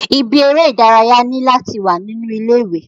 Ibi eré ìdárayá ni láti wà nínú ilé ìwé.